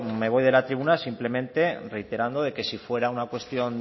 me voy de la tribuna simplemente reiterando que si fuera una cuestión